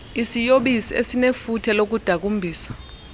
isiyobisi esinefuthe lokudakumbisa